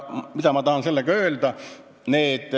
Mida ma tahan sellega öelda?